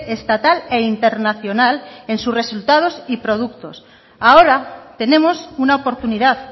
estatal e internacional en su resultados y productos ahora tenemos una oportunidad